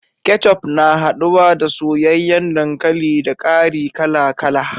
Ketchup, na haduwa da soyayen dankali, da ƙari kala kala.